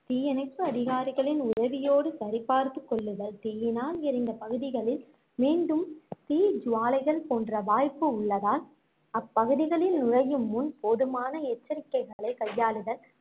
தீயணைப்பு அதிகாரிகளின் உதவியோடு சரிபார்த்துக் கொள்ளுதல், தீயினால் எரிந்த பகுதிகளில் மீண்டும் தீ ஜுவாலைகள் தோன்ற வாய்ப்பு உள்ளதால் அப்பகுதிகளில் நுழையும் முன் போதுமான எச்சரிக்கைகளைக் கையாளுதல்,